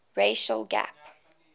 racial gap